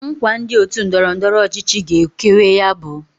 Nkwa ndi otu ndọrọ ndọrọ ọchịchị ga ekewe ya bu: